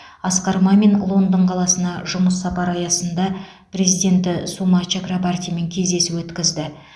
асқар мамин лондон қаласына жұмыс сапары аясында президенті сума чакрабартимен кездесу өткізді